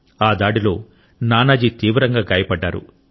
ఆ దాడిలో నానాజీ తీవ్రంగా గాయపడ్డాడు